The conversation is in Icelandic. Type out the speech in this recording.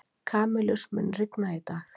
Kamilus, mun rigna í dag?